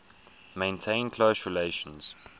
maintains close relations